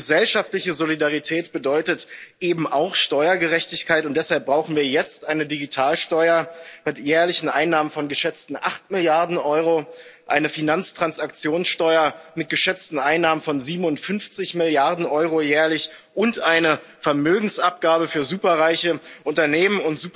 Gesellschaftliche Solidarität bedeutet eben auch Steuergerechtigkeit, und deshalb brauchen wir jetzt eine Digitalsteuer mit jährlichen Einnahmen von geschätzten 8 Milliarden Euro, eine Finanztransaktionssteuer mit geschätzten Einnahmen von 57 Milliarden Euro jährlich und eine Vermögensabgabe für superreiche Unternehmen.